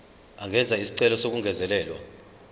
angenza isicelo sokungezelelwa